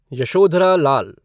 Yashodhara Lal